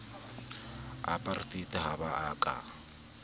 apartheid ha ba a ka